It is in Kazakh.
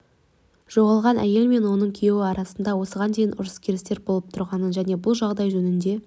жоғалған әйел мен оның күйеуі арасында осыған дейін ұрыс-керістер болып тұрғанын және бұл жағдай жөнінде